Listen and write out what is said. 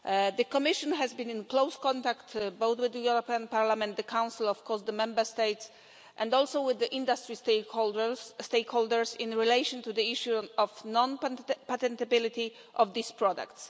The Commission has been in close contact both with the European Parliament, the Council, of course, the Member States, and also with the industry stakeholders in relation to the issue of the non patentability of these products.